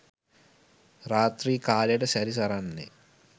රාති්‍ර කාලයට සැරි සරන්නේ